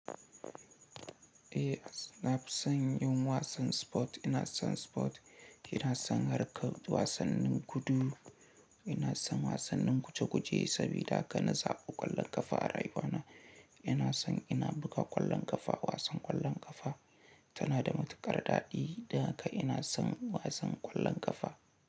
Eh, na fi son yin wasan motsa jiki Ina son motsa jiki, ina son harkar wasannin gudu, ina son wasannin guje-guje sabida haka na zaɓi ƙwallon ƙafa a rayuwa ta. Ina son ina buga ƙwallon ƙafa. Wasan ƙwallon ƙafa tana da matuƙar daɗi, daka ina son wasan ƙwallon ƙafa.